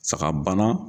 Saga bana